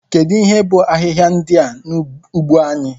Kedu ihe bụ ahịhịa ndị a n'ugbo anyị?